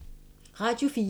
Radio 4